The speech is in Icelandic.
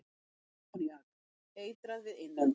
Ammoníak- Eitrað við innöndun.